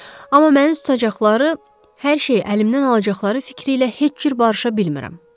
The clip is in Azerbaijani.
Amma məni tutacaqları, hər şeyi əlimdən alacaqları fikri ilə heç cür barışa bilmirəm.